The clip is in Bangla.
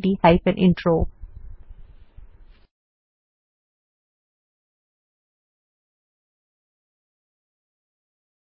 রেকর্ড করেছি